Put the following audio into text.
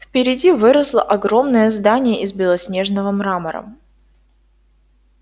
впереди выросло огромное здание из белоснежного мрамора